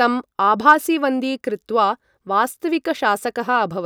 तं आभासीवन्दी कृत्वा वास्तविकशासकः अभवत्।